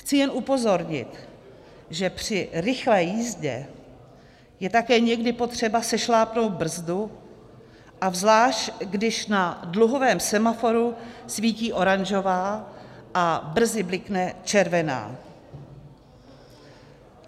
Chci jen upozornit, že při rychlé jízdě je také někdy potřeba sešlápnout brzdu, a zvlášť když na dluhovém semaforu svítí oranžová a brzy blikne červená.